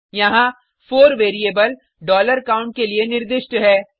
यहाँ 4 variable count के लिए निर्दिष्ट है